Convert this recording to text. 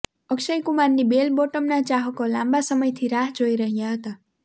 અક્ષય કુમારની બેલ બોટમના ચાહકો લાંબા સમયથી રાહ જોઈ રહ્યા હતા